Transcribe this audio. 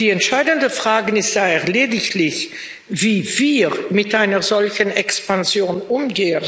Die entscheidende Frage ist daher lediglich, wie wir mit einer solchen Expansion umgehen.